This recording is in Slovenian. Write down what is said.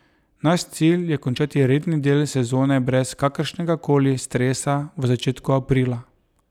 Naš cilj je končati redni del sezone brez kakršnegakoli stresa v začetku aprila.